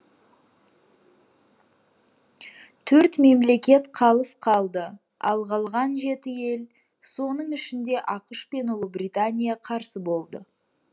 төрт мемлекет қалыс қалды ал қалған жеті ел соның ішінде ақш пен ұлыбритания қарсы болды